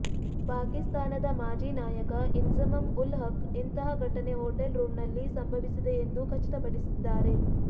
ಪಾಕಿಸ್ತಾನದ ಮಾಜಿ ನಾಯಕ ಇನ್ಜಮಮ್ ಉಲ್ ಹಕ್ ಇಂತಹ ಘಟನೆ ಹೊಟೆಲ್ ರೂಂನಲ್ಲಿ ಸಂಭವಿಸಿದೆಯೆಂದು ಖಚಿತಪಡಿಸಿದ್ದಾರೆ